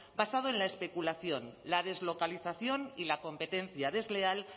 basado en la especulación la deslocalización y la competencia desleal